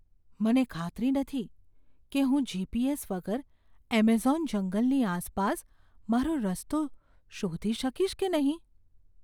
મને ખાતરી નથી કે હું જી.પી.એસ. વગર એમેઝોન જંગલની આસપાસ મારો રસ્તો શોધી શકીશ કે નહીં.